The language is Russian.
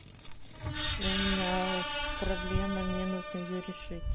у меня проблема мне нужно ее решить